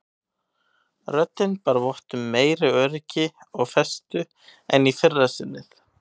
Röddin bar vott um meiri öryggi og festu en í fyrra sinnið.